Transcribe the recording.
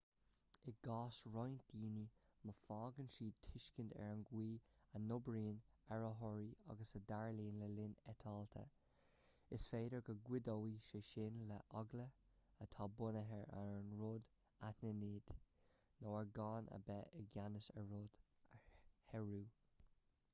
i gcás roinnt daoine má fhaigheann siad tuiscint ar an gcaoi a n-oibríonn aerárthaí agus a dtarlaíonn le linn eitilte is féidir go gcuideoidh sé sin leo eagla atá bunaithe ar an rud anaithnid nó ar gan a bheith i gceannas ar rud a shárú